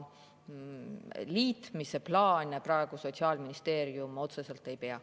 Liitmise plaane Sotsiaalministeerium praegu otseselt ei pea.